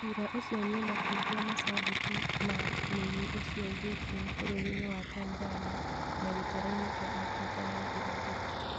Ciira ũcio nĩumakitie macambĩki ma mũini ũcio Viking bũrũri-inĩ wa Tanzania na gĩtaroinĩ kia Afrika ya irathĩro